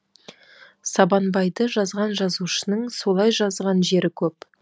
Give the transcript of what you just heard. сабанбайды жазған жазушының солай жазған жері көп